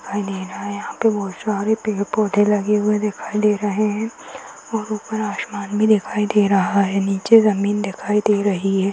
अँधेरा है यहॉं पे यहाँ पे बहुत सारे पेड़-पौधे लगे हुए दिखाई दे रहे हैं और ऊपर आसमान में दिखाई दे रहा है नीचे जमीन दिखाई दे रही है ।